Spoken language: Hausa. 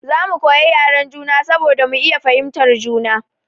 Za mu koyi yaren juna saboda mu iya fahimtar juna.